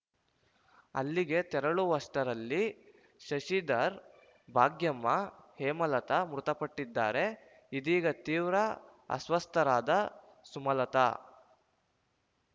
ಅಲ್ಲಿಗೆ ತೆರಳುವಷ್ಟರಲ್ಲಿ ಶಶಿಧರ ಭಾಗ್ಯಮ್ಮ ಹೇಮಲತಾ ಮೃತಪಟ್ಟಿದ್ದಾರೆ ಇದೀಗ ತೀವ್ರ ಅಸ್ವಸ್ಥರಾದ ಸುಮಲತಾ